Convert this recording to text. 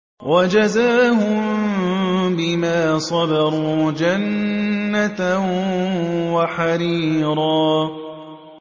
وَجَزَاهُم بِمَا صَبَرُوا جَنَّةً وَحَرِيرًا